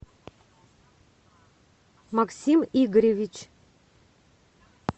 максим игоревич